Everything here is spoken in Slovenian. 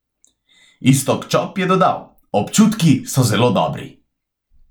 Iztok Čop je dodal: "Občutki so zelo dobri.